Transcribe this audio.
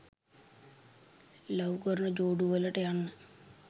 love කරන ජෝඩුවලට යන්න